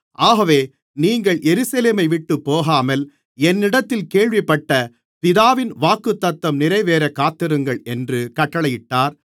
ஆகவே நீங்கள் எருசலேமைவிட்டுப் போகாமல் என்னிடத்தில் கேள்விப்பட்ட பிதாவின் வாக்குத்தத்தம் நிறைவேறக் காத்திருங்கள் என்று கட்டளையிட்டார்